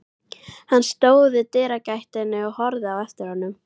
Hann stóð í dyragættinni og horfði á eftir honum.